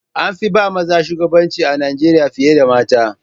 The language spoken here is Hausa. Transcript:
An fi ba maza shugabanci a Najeriya fiye da mata.